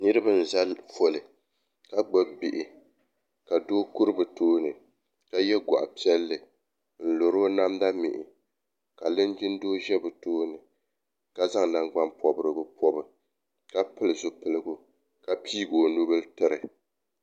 niriba n za ƒɔli ka gbabi bihi ka do kuri bi tuuni ka yɛ guɣipiɛlli m luru o namda mihi ka linjindoo ʒɛ bɛ tuuni ka zaŋ nangbani porigu pobi ka pɛli zibiligu ka pɛɛ o nubili tɛri